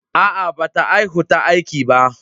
Aa, ba ta haihu ta aiki ba.